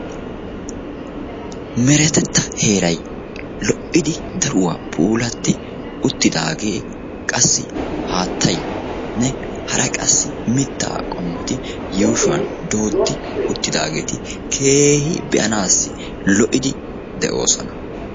meretetta heeray lo'idio daruwa puulatti uttidaagee assi haattayu hara qassi mitaa qommoti yuushshuwan uttidaageeti keehi be'anaassi lo'idi de'oosona.